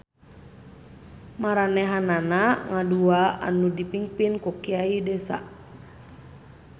Maranèhanana ngadua anu dipingpin ku Kiai desa.